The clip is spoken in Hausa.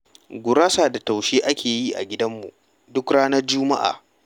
Gurasa da taushe ake yi a gidanmu duk ranar juma'a.